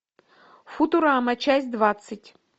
футурама часть двадцать